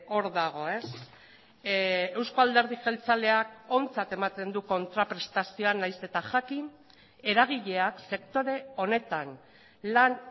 hor dago eusko alderdi jeltzaleak ontzat ematen du kontraprestazioa nahiz eta jakin eragileak sektore honetan lan